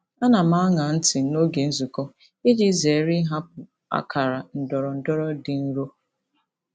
Ana m aṅa ntị n'oge nzukọ iji zere ịhapụ akara ndọrọndọrọ dị nro.